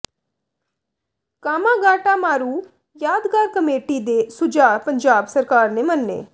Komagata Maru ਯਾਦਗਾਰ committee ਦੇ ਸੁਝਾਅ ਪੰਜਾਬ ਸਰਕਾਰ ਨੇ ਮੰਨੇ